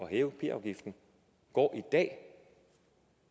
at hæve p afgiften går